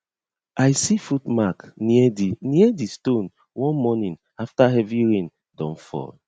i see foot mark near di near di stone one morning after heavy rain don fall